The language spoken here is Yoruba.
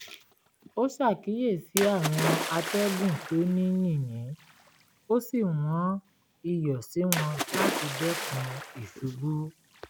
ó ṣàkíyèsí àwọn àtẹ̀gùn tó ní yìnyín ó sì wọ́n iyọ̀ sí wọn láti dẹ́kun ìṣubú